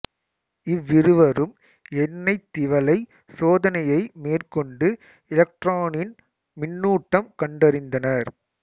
இவ்விருவரும் எண்ணெய்த் திவலை சோதனையை மேற்கொண்டு எலக்ட்ரானின் மின்னூட்டம் கண்டறிந்தனர்